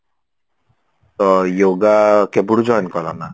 ତ yoga କେବେଠୁ join କଲ ନା